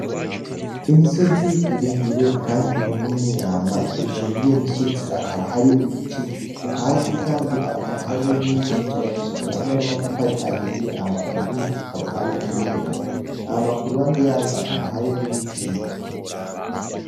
Imisozi miremire kandi minini, ama ejuru yiyo misozi akaba hariyo ibityu, hasi kandi akaba hariyo n'inzuzubakishijwe hamwe n'amatafari ahiye ama iyindi akaba ari iyera, ama ku ruhande yayo akaba hariyo n'ibiti.